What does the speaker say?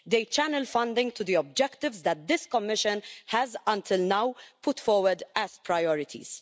It channels funding to the objectives that this Commission has until now put forward as priorities.